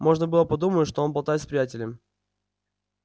можно было подумать что он болтает с приятелем